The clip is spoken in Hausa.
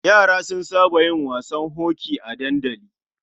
Yara sun saba yin wasan hoki a dandali.